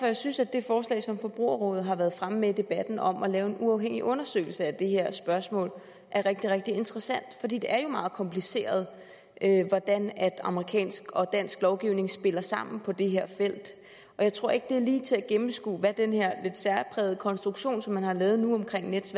jeg synes at det forslag som forbrugerrådet har været fremme med i debatten om at lave en uafhængig undersøgelse af det her spørgsmål er rigtig rigtig interessant for det er jo meget kompliceret hvordan amerikansk og dansk lovgivning spiller sammen på det her felt og jeg tror ikke det er lige til at gennemskue hvad den her lidt særprægede konstruktion som man har lavet nu omkring nets